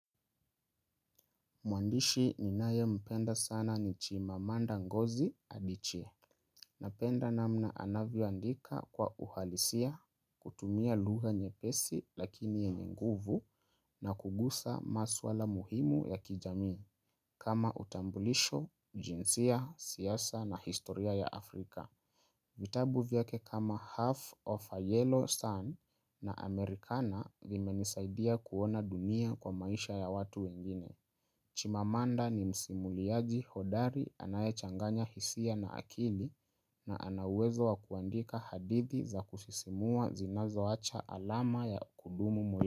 Mwandishi ninaye mpenda sana ni chimamanda ngozi adiche. Napenda namna anavyoandika kwa uhalisia, kutumia lugha nyepesi lakini yenye nguvu na kugusa maswala muhimu ya kijamii. Kama utambulisho, jinsia, siasa na historia ya Afrika. Vitabu vyake kama half of a yellow sun na amerikana vimenisaidia kuona dunia kwa maisha ya watu wengine. Chimamanda ni msimuliaji hodari anayechanganya hisia na akili na ana uwezo wa kuandika hadithi za kusisimua zinazo acha alama ya kudumu moyo.